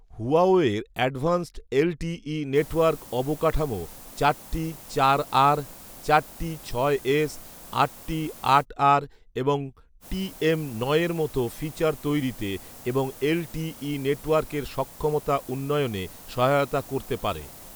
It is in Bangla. হুয়াওয়ের অ্যাডভান্সড এলটিই নেটওয়ার্ক অবকাঠামো চার টি চার আর, চার টি ছয় এস, আট টি আট আর এবং টিএম নয় এর মতো ফিচার তৈরিতে এবং এলটিই নেটওয়ার্কের সক্ষমতা উন্নয়নে সহায়তা করতে পারে